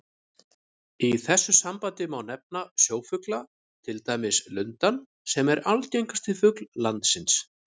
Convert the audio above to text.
Í þessu sambandi má nefna sjófugla, til dæmis lundann sem er algengasti fugl landsins.